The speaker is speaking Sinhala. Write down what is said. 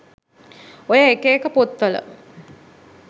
ඔය එක එක පොත්වල